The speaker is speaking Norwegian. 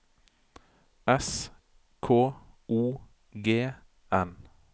S K O G N